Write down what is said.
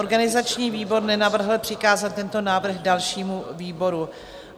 Organizační výbor nenavrhl přikázat tento návrh dalšímu výboru.